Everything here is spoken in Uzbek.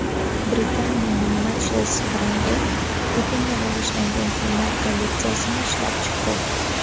Britaniyaning Matchless brendi Putinga bag‘ishlangan kiyimlar kolleksiyasini ishlab chiqdi.